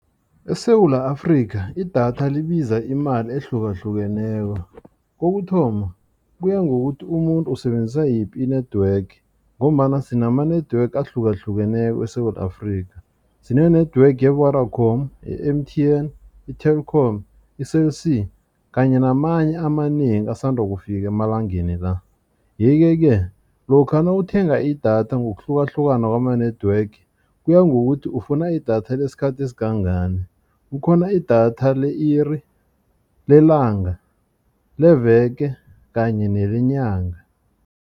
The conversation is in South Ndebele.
ESewula Afrika idatha libiza imali ehlukahlukeneko kokuthoma kuya ngokuthi umuntu usebenzisa yiphi i-network ngombana sinama-network ahlukahlukeneko. Sine-network ye-Vodacom, i-M_T_N, i-Telkom i-Cell C kanye namanye amanengi asanda ukufika emalangeni la. Yeke-ke lokha nawuthenga idatha ngokuhlukahlukana kwama-network kuya ngokuthi ufuna idatha lesikhathi esingangani kukhona idatha le-iri lelanga le veke kanye nelenyanga.